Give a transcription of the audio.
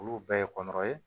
Olu bɛɛ ye kɔnkɔn ye